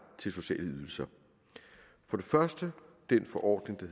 til sociale ydelser for det første den forordning der